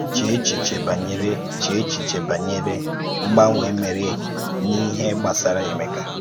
Chèe èchìchè bànyèrè Chèe èchìchè bànyèrè um mgbanwè mèrè n’íhè gbasàrà Emeka.